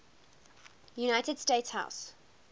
united states house